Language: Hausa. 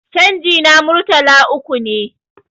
canji na Murtala uku ne